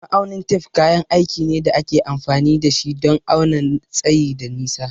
Ma'aunin tef kayan aiki ne da ake amfani da shi don auna tsayi da nisa.